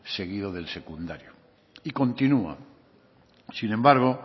seguido del secundario y continua sin embargo